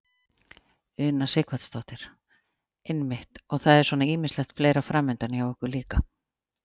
Una Sighvatsdóttir: Einmitt og það er svona ýmislegt fleira framundan hjá ykkur líka?